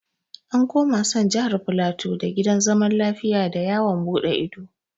An kuma san Jihar Filato da Gidan Zaman Lafiya da yawon buɗe ido